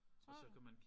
Tror du?